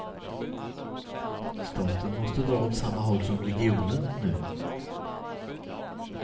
Staten måste dra åt samma håll som regionen nu.